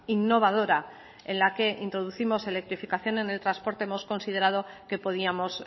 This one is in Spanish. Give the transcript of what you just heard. innovadora en la que introducimos electrificación en el transporte hemos considerado que podíamos